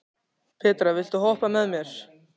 Petra, viltu hoppa með mér?